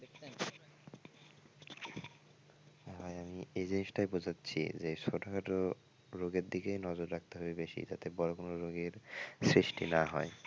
ভাই আমি এই জিনিসটাই বোঝাচ্ছি যে ছোটখাট রোগের দিকে নজর রাখতে হবে বেশি যাতে বড় কোন রোগের সৃষ্টি না হয়।